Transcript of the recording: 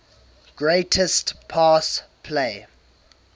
greatest pass play